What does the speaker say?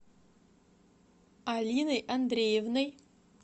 алиной андреевной